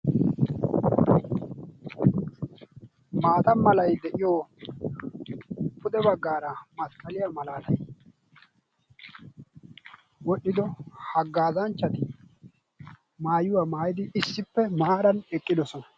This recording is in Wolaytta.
maata malay de'iyo pude bagaara masqqaliya malaattay, wodhido hagaazanchati maayuwa maayidi issippe maaran eqqidosona.